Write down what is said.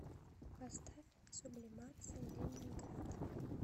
поставь сублимация ленинград